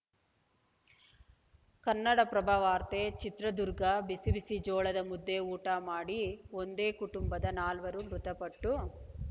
ಕನ್ನಡಪ್ರಭವಾರ್ತೆ ಚಿತ್ರದುರ್ಗ ಬಿಸಿ ಬಿಸಿ ಜೋಳದ ಮುದ್ದೆ ಊಟ ಮಾಡಿ ಒಂದೇ ಕುಟುಂಬದ ನಾಲ್ವರು ಮೃತಪಟ್ಟು